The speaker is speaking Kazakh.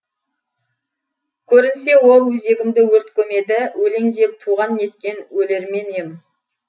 көрінсе ол өзегімді өрт көмеді өлең деп туған неткен өлермен ем